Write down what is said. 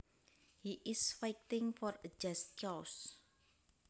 He is fighting for a just cause